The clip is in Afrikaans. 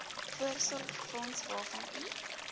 voorsorgsfonds waarvan u